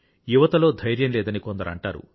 యువతలో ధైర్యం లేదని కొందరు అంటారు